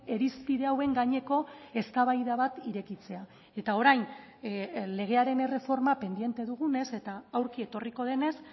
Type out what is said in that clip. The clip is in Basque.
irizpide hauen gaineko eztabaida bat irekitzea eta orain legearen erreforma pendiente dugunez eta aurki etorriko denez